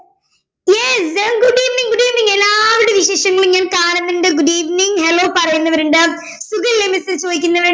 Yes very good evening good evening എല്ലാവരുടെയും വിശേഷങ്ങളും ഞാൻ കാണുന്നുണ്ട് good evening hello പറയുന്നവരുണ്ട് സുഖല്ലേ miss എ ചോദിക്കുന്നോരുണ്ട്